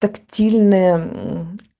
тактильная